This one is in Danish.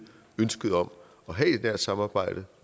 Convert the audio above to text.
ønsket om at have et nært samarbejde